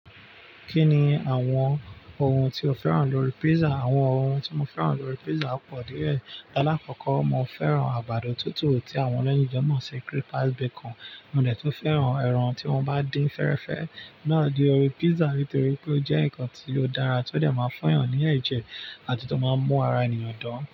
Kí ni àwọn ohun tí o fẹ́ràn lórí pizza? Àwọn ohun tí mo fẹ́ràn lórí pizza pọ̀ díẹ̀. Lálákọ̀kọ́, mo fẹ́ràn àgbàdo tútù tí àwọn oloyigan mọ́ọ̀sì cripal bacon. Mo dẹ̀ tún fẹ́ràn ẹran tí wọ́n bá dín fẹ́rẹ́fẹ́ náà ni órí pizza nítorí pé ó jẹ́ ǹkan tí ó dára, tó dẹ̀ máa funyàn ní ẹ̀jẹ̀ àti tó máa ń mú ara ènìyàn dùn.